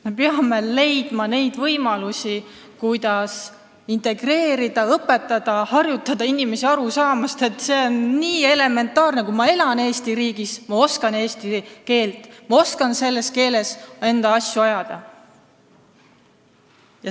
Me peame leidma võimalusi, kuidas inimesi integreerida ja õpetada, kuidas harjutada neid aru saama, et see on nii elementaarne: kui ma elan Eesti riigis, siis ma oskan eesti keelt, ma oskan selles keeles oma asju ajada.